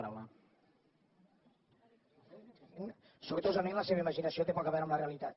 sortosament la seva imaginació té poc a veure amb la realitat